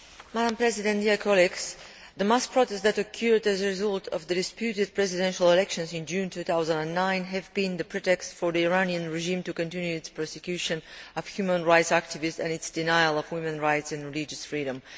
Madam President, the mass protests that occurred as a result of the disputed presidential elections in June 2009 have been the pretext for the Iranian regime to continue its persecution of human rights activists and its denial of women's rights and religious freedom.